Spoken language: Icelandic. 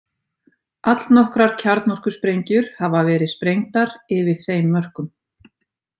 Allnokkrar kjarnorkusprengjur hafa verið sprengdar yfir þeim mörkum.